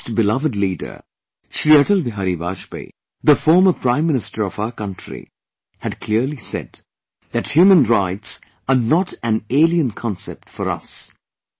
Our most beloved leader, ShriAtalBihari Vajpayee, the former Prime Minister of our country, had clearly said that human rights are not analien concept for us